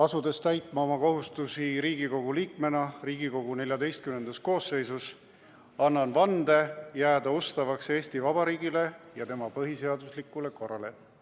Asudes täitma oma kohustusi Riigikogu liikmena Riigikogu XIV koosseisus, annan vande jääda ustavaks Eesti Vabariigile ja tema põhiseaduslikule korrale.